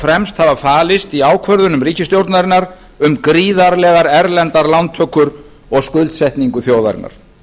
fremst hafa falist í ákvörðunum ríkisstjórnarinnar um gríðarlegar erlendar lántökur og skuldsetningu þjóðarinnar